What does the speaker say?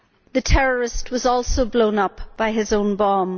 The terrorist was also blown up by his own bomb.